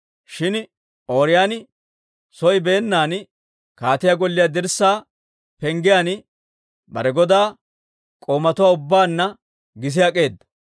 Shin Ooriyooni soo beennan kaatiyaa golliyaa dirssaa penggiyaan bare godaa k'oomatuwaa ubbaanna gis ak'eeda.